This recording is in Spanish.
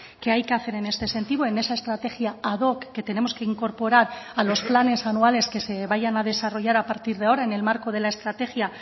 que hay que hacer en este sentido en esa estrategia ad hoc que tenemos que incorporar a los planes anuales que se vayan a desarrollar a partir de ahora en el marco de la estrategia